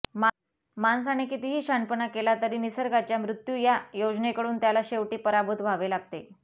माणसाने कितीही शहाणपणा केला तरी निसर्गाच्या मृत्यू या योजनेकडून त्याला शेवटी पराभूत व्हावे लागते